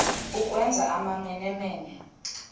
ukwenza amamene mene